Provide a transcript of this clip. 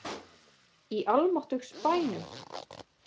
Í almáttugs bænum!